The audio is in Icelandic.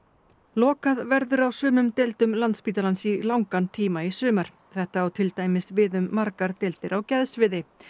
lokað verður á sumum deildum Landspítalans í langan tíma í sumar þetta á til dæmis við um margar deildir á geðsviði